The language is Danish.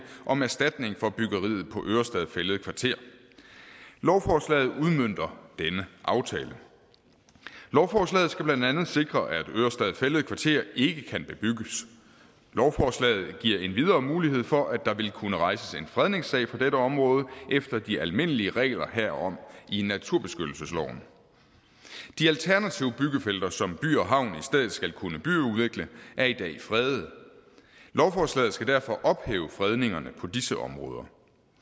om erstatning for byggeriet på ørestad fælled kvarter lovforslaget udmønter denne aftale lovforslaget skal blandt andet sikre at ørestad fælled kvarter ikke kan bebygges lovforslaget giver endvidere mulighed for at der vil kunne rejses en fredningssag på dette område efter de almindelige regler herom i naturbeskyttelsesloven de alternative byggefelter som by og havn i stedet skal kunne byudvikle er i dag fredede lovforslaget skal derfor ophæve fredningerne på disse områder